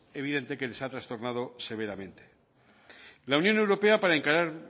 evidente que les ha trastornado severamente la unión europea para encarar